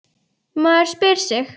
Maður spyr sig.